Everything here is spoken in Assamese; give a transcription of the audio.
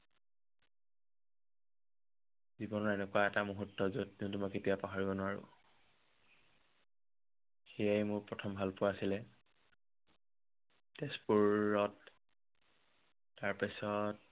জীৱনৰ এনেকুৱা এটা মুহুৰ্ত, যত যোনটো মই কেতিয়াও পাহৰিব নোৱাৰো। সেয়াই মোৰ প্ৰথম ভালপোৱা আছিলে। তোজপুৰত তাৰ পাছত